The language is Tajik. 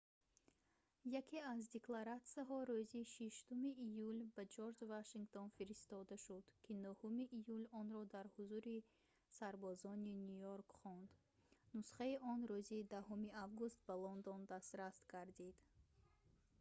яке аз декларатсияҳо рӯзи 6 июл ба ҷорҷ вашингтон фиристода шуд ки 9 июл онро дар ҳузури сарбозони ню йорк хонд нусхаи он рӯзи 10 август ба лондон дастрас гардид